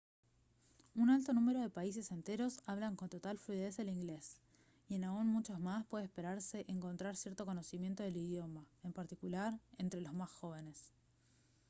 un alto número de países enteros hablan con total fluidez el inglés y en aún muchos más puede esperarse encontrar cierto conocimiento del idioma en particular entre los más jóvenes